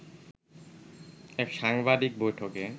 এক সাংবাদিক বৈঠকে